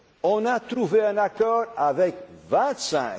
deux vitesses. On a trouvé un accord